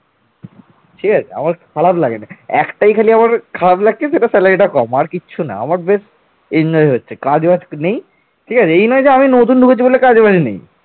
আমার খারাপ লাগেনি একটাই খালি আমার খারাপ লাগছে সেটা salary কম। আর কিছু না আমার বেশ enjoy হচ্ছে কাজবাজ নেই ঠিক আছে এই নয় যে আমি নতুন ঢুকেছি বলে কাজবাজ নেই